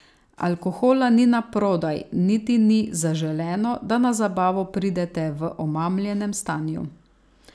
Alkohola ni naprodaj, niti ni zaželeno, da na zabavo pridete v omamljenem stanju.